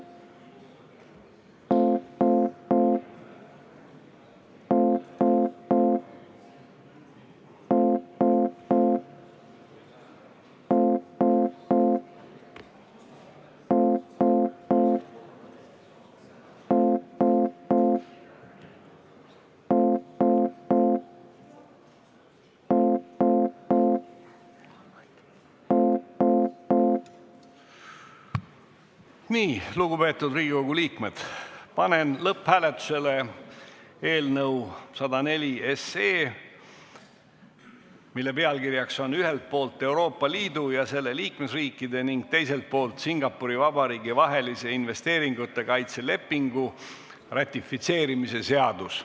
Lugupeetud Riigikogu liikmed, panen lõpphääletusele eelnõu 104, mille pealkirjaks on "Ühelt poolt Euroopa Liidu ja selle liikmesriikide ning teiselt poolt Singapuri Vabariigi vahelise investeeringute kaitse lepingu ratifitseerimise seadus".